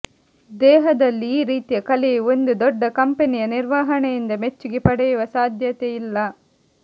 ದೇಹದಲ್ಲಿ ಈ ರೀತಿಯ ಕಲೆಯು ಒಂದು ದೊಡ್ಡ ಕಂಪನಿಯ ನಿರ್ವಹಣೆಯಿಂದ ಮೆಚ್ಚುಗೆ ಪಡೆಯುವ ಸಾಧ್ಯತೆಯಿಲ್ಲ